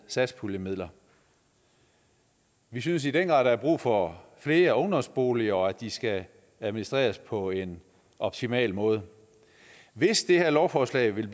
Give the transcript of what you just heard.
satspuljemidler vi synes i den grad at der er brug for flere ungdomsboliger og at de skal administreres på en optimal måde hvis det her lovforslag vil